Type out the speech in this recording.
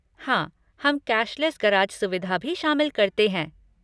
हाँ, हम cashless garage सुविधा भी शामिल करते हैं।